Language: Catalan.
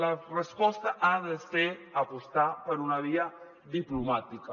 la resposta ha de ser apostar per una via diplomàtica